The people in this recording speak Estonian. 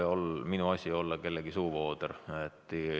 Ei ole minu asi olla kellegi suuvooder.